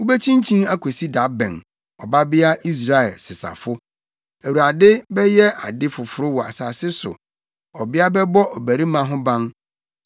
Wubekyinkyin akosi da bɛn, Ɔbabea Israel sesafo? Awurade bɛyɛ ade foforo wɔ asase so, ɔbea bɛbɔ ɔbarima ho ban.”